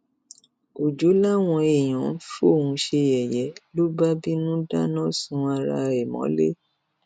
ọjọ làwọn èèyàn ń fóun ṣe yẹyẹ ló bá bínú dáná sun ara ẹ mọlẹ